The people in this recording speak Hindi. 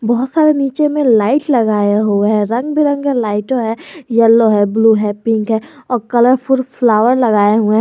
बहुत सारे नीचे में लाइट लगाया हुए है रंग बिरंगे लाइट है येलो है ब्लू है पिंक है और कलरफुल फ्लावर लगाए हुए है।